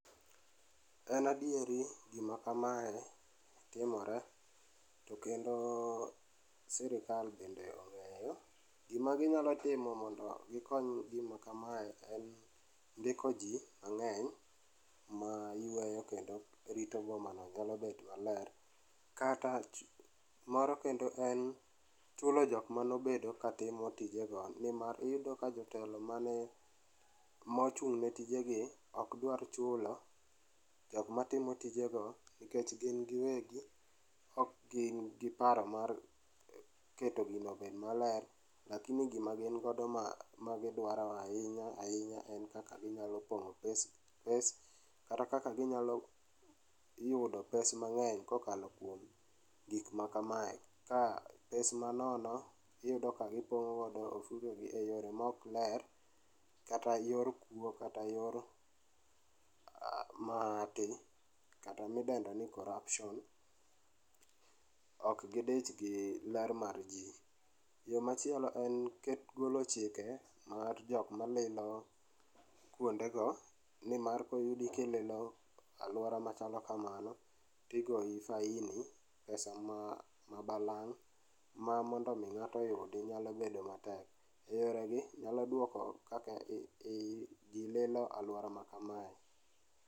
En adieri gima kamae timore to kendo sirkal bende ong'eyo. Gima ginyalo timo mondo gikony gima kamae en ndiko jii mang'eny ma yweyo kendo rito go boma no nyalo bet maler kata moro kendo en chulo jok manobedo katimo tijego nimar iyudo ka jotelo mane ,mochung' ne tijegi ok dwaro chulo jokma timo tijego nikech gin giwegi ok gin gi paro mar keto gino obed maler lakini gima gin godo ma, ma gidwaro ahinya ahinya en kaka ginyalo pogo pes, kata kaka ginyalo yudo pes mang'eny kokalo kuom gik ma kamae ka pes manono iyudo ka gipongo go ofuke gi e yore maok ler kata yor kuo kata yor aah, ma kata midendoni corruption, ok gidich gi ler mar jii. Yoo machielo en keto, golo chike mar jokm alilo kuonde go nimar koyudo kililo aluora machalo kamano to igoyi faini pesa ma balang' ma mondo mi ngato oyudi nyalo bedo matek. Yore gi nyalo duoko kaka jii lilo aluora ma kamae